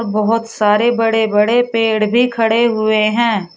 बहोत सारे बड़े बड़े पेड़ भी खड़े हुए हैं।